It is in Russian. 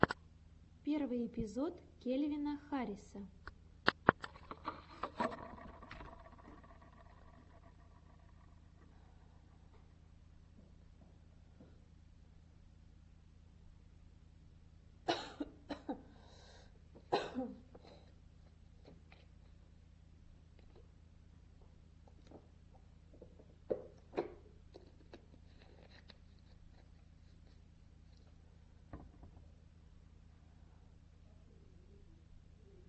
первый эпизод кельвина харриса